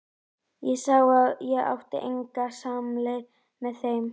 Ég sá að ég átti enga samleið með þeim.